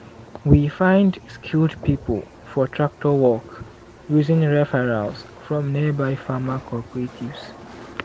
we find skilled people for tractor work using referrals from nearby farmer cooperatives.